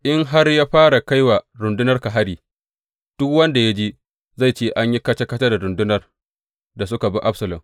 In har ya fara kai wa rundunarka hari duk wanda ya ji, zai ce, An yi kaca kaca da rundunar da suka bi Absalom.’